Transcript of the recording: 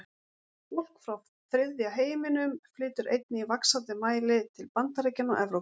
Fólk frá þriðja heiminum flytur einnig í vaxandi mæli til Bandaríkjanna og Evrópu.